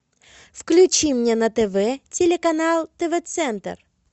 включи мне на тв телеканал тв центр